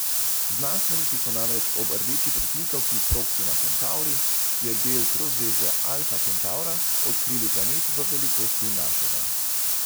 Znanstveniki so namreč ob rdeči pritlikavki Proksima Kentavri, ki je del trozvezdja Alfa Kentavra, odkrili planet, v velikosti našega.